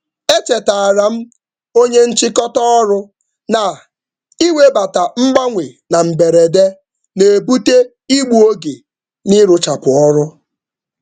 M chetara onye njikwa na mgbanwe na-enweghị atụmatụ na-egbu oge nnyefe ahaziri.